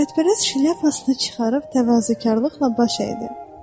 Şöhrətpərəst şlyapasını çıxarıb təvazökarlıqla baş əydi.